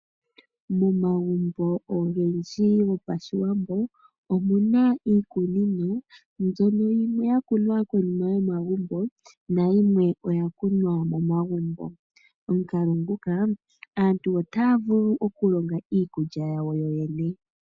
Momagumbo ogendji gopashiwambo omu na iikunino mbyono yimwe ya kunwa konima yomagumbo nayimwe oya kunwa momagumbo. Momukalo nguka aantu otaya vulu okulonga iikulya yawo yoyene.